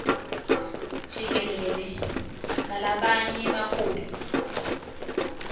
jikelele nalabanye baholi